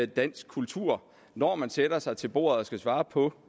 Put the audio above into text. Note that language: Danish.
dansk kultur når man sætter sig til bordet og skal svare på